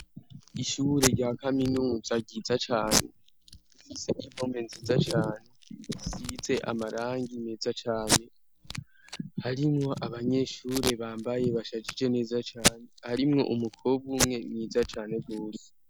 Ishure rya kaminuza ryiza cane ufise impome nziza cane size amarangi meza cane harimwo abanyeshure bambaye bashajije neza cane harimwo umukobwa umwe mwiza cane rose.